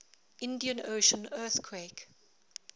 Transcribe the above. indian ocean earthquake